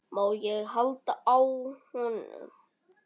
Má ég halda á honum?